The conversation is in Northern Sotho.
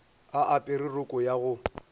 a apere roko ya go